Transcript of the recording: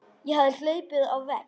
Ég hafði hlaupið á vegg.